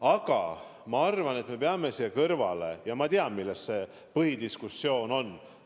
Aga ma arvan, et me peame siin kõrval arvestama, mille üle see põhidiskussioon on.